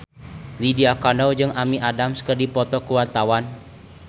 Lydia Kandou jeung Amy Adams keur dipoto ku wartawan